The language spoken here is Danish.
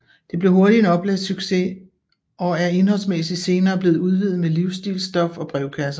Det blev hurtigt en oplagssucces og er indholdsmæssigt senere blevet udvidet med livsstilsstof og brevkasser